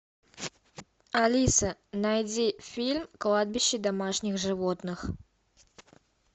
алиса найди фильм кладбище домашних животных